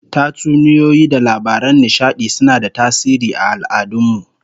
Tatsuniyoyi da labaran nishadi suna da tasiri aal'adun mu